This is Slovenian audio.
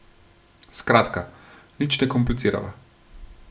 Skratka, nič ne komplicirava.